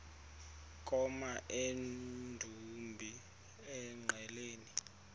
koma emdumbi engqeleni